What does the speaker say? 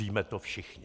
Víme to všichni.